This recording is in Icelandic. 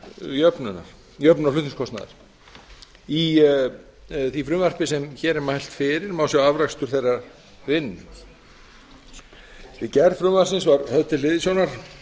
jöfnunar flutningskostnaðar í því frumvarpi sem hér er mælt fyrir má sjá afrakstur þeirrar vinnu við gerð frumvarpsins var höfð til hliðsjónar